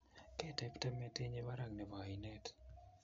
kitepte metinyi barak nebo ainet